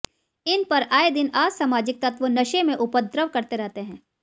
इन पर आए दिन असामाजिक तत्व नशे में उपद्रव करते रहते हैं